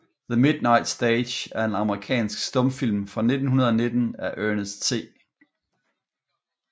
The Midnight Stage er en amerikansk stumfilm fra 1919 af Ernest C